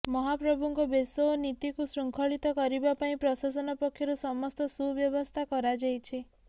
ମହାପ୍ରଭୁଙ୍କ ବେଶ ଓ ନୀତିକୁ ଶୃଙ୍ଖଳିତ କରିବା ପାଇଁ ପ୍ରଶାସନ ପକ୍ଷରୁ ସମସ୍ତ ସୁବ୍ୟବସ୍ଥା କରାଯାଇଛି